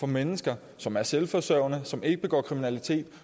mennesker som er selvforsørgende som ikke begår kriminalitet